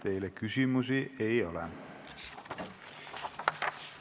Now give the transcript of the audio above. Teile küsimusi ei ole.